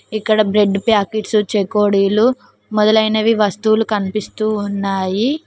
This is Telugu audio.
ఇక్కడ బ్రేడ్ ప్యాకెట్స్ చెకోడీలు మొదలైనవి వస్తువులు కనిపిస్తూ ఉన్నాయి.